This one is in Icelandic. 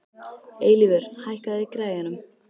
Eilífur, hækkaðu í græjunum.